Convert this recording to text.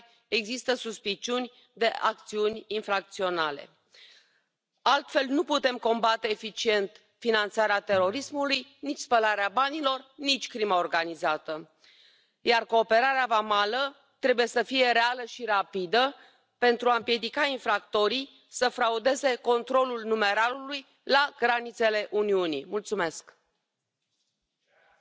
propuestas sobre migración —esas propuestas autoritarias que realiza junto a Salvini— muchas veces son apoyadas por la mayoría de esta Cámara, una Cámara que reprueba a Orbán pero luego practica sus políticas, le compra la agenda